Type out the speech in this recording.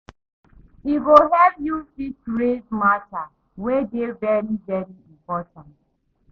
E go help yu fit raise mata wey dey very very important